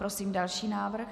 Prosím další návrh.